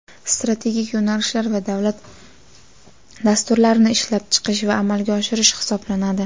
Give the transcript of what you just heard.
strategik yo‘nalishlar va davlat dasturlarini ishlab chiqish va amalga oshirish hisoblanadi.